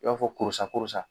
I b'a fɔ koros korosa.